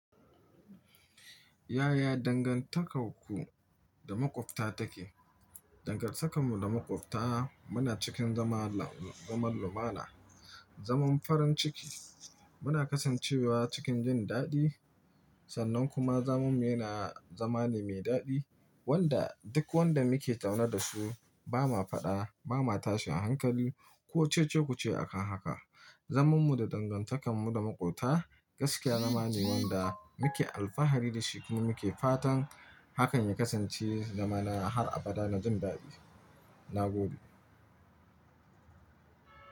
Yaya dangantakar ku da maƙwabta take? Dangantakarmu da maƙwabta muna cikin zaman lau lumana. Zaman farin ciki. Muna kasancewa cikin jin daɗi sannan kuma zaman mu yana zama ne mai daɗi wanda duk wanda muke tauna da su ba ma faɗa, ba ma tashin a hankali ko cece-kuce akan haka. Zamanmu da dangantakar mu da maƙwabta gaskiya zama ne wanda muke alfahari da shi muke fatan hakan ya kasance zamana har abada na jin daɗi. Na gode.